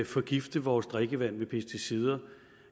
forgifte vores drikkevand med pesticider